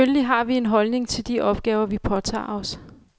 Selvfølgelig har vi en holdning til de opgaver, vi påtager os.